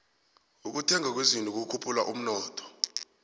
ukuthengwa kwezinto kukhuphula umnotho